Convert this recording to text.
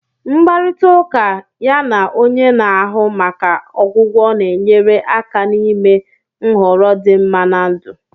Mkparịta ụka ya na onye na-ahụ maka ọgwụgwọ na-enyere aka n'ime nhọrọ dị mma na ndụ